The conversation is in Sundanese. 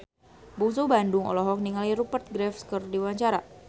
Bungsu Bandung olohok ningali Rupert Graves keur diwawancara